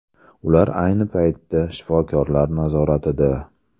Ular ayni paytda shifokorlar nazoratida.